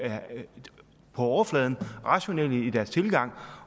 på overfladen er rationelle i deres tilgang